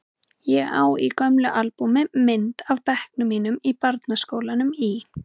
Ég á í gömlu albúmi mynd af bekknum mínum í barnaskólanum í